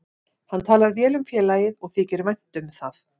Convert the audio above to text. Hann talar vel um félagið og þykir vænt um það.